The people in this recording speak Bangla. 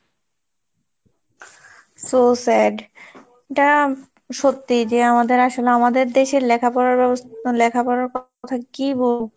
so sad তা সত্যি যে আমাদের আসলে আমাদের দেশের লেখাপড়ার ব্যবস্থা লেখাপড়ার কথা কি বলবো!